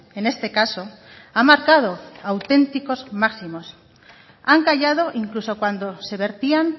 en este caso ha marcado auténticos máximos han callado incluso cuando se vertían